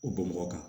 O bɔn bɔnbɔgɔ kan